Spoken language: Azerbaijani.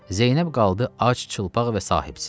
Zeynəb qaldı ac, çılpaq və sahibsiz.